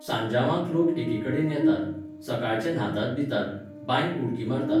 साजांवांक लोक एकेकडेन येतात, सकाळचे न्हातात बितात, बांयंत उडकी मारतात.